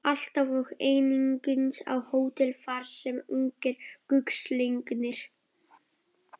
Alltaf og einungis á hótelið, þar sem ungir gullslegnir